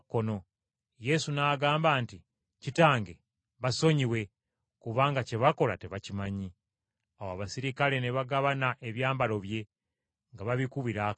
Yesu n’agamba nti, “Kitange, basonyiwe, kubanga kye bakola tebakimanyi.” Awo abaserikale ne bagabana ebyambalo bye nga babikubira akalulu.